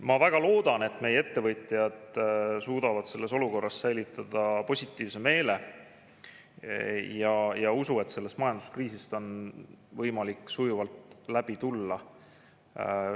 Ma väga loodan, et meie ettevõtjad suudavad selles olukorras säilitada positiivse meele ja usu, et sellest majanduskriisist on võimalik sujuvalt läbi tulla.